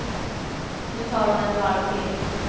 Nu tar hon ett varv till.